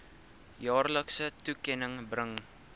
jaarlikse toekenning bring